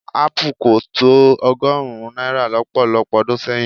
Ápù kò tó ọgọ́rùn-ún náírà lọ́pọ̀lọpọ̀ ọdún sẹ́yìn.